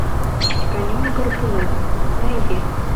конек горбунок найди